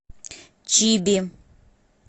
чиби